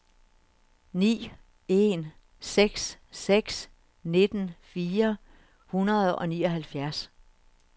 ni en seks seks nitten fire hundrede og nioghalvfjerds